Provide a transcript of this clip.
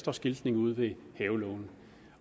er skiltning ude ved havelågen